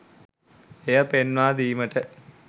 එය පෙන්වා දීමට